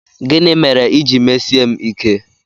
Gịnị mere i ji mesie m ike?